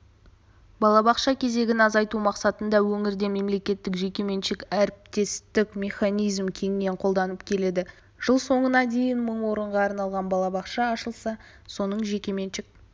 балабақша кезегін азайту мақсатында өңірде мемлекеттік-жекеменшік әріптестік механизмі кеңінен қолданылып келеді жыл соңына дейін мың орынға арналған балабақша ашылса соның жекеменшік